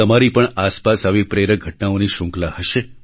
તમારી પણ આસપાસ આવી પ્રેરક ઘટનાઓની શ્રૃંખલા હશે